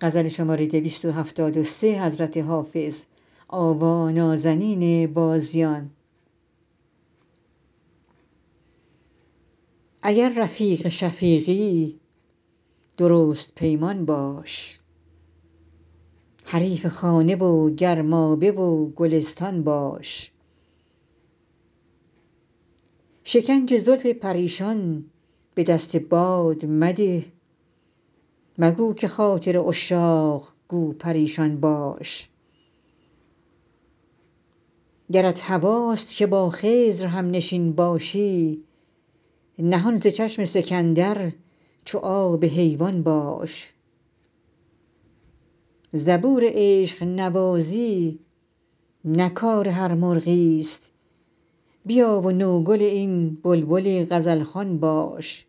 اگر رفیق شفیقی درست پیمان باش حریف خانه و گرمابه و گلستان باش شکنج زلف پریشان به دست باد مده مگو که خاطر عشاق گو پریشان باش گرت هواست که با خضر هم نشین باشی نهان ز چشم سکندر چو آب حیوان باش زبور عشق نوازی نه کار هر مرغی است بیا و نوگل این بلبل غزل خوان باش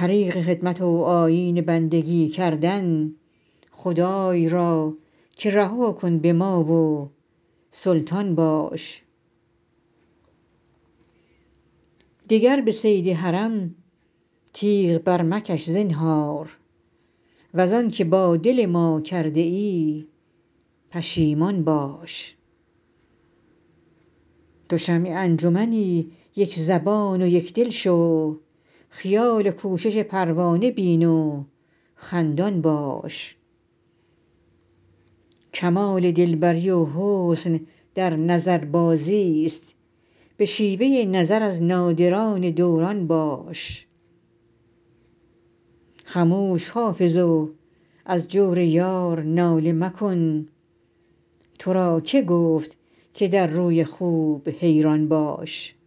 طریق خدمت و آیین بندگی کردن خدای را که رها کن به ما و سلطان باش دگر به صید حرم تیغ برمکش زنهار وز آن که با دل ما کرده ای پشیمان باش تو شمع انجمنی یک زبان و یک دل شو خیال و کوشش پروانه بین و خندان باش کمال دل بری و حسن در نظربازی است به شیوه نظر از نادران دوران باش خموش حافظ و از جور یار ناله مکن تو را که گفت که در روی خوب حیران باش